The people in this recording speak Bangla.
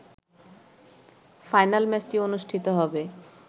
ফাইনাল ম্যাচটি অনুষ্ঠিত হবে